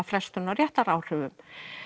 frestun á réttaráhrifum